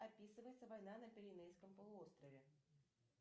описывается война на пиренейском полуострове